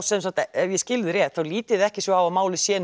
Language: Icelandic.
ef ég skil þig rétt þá lítið þið ekki svo á að málið sé